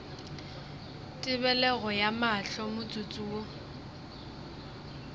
tebelego ya mahlo motsotso wo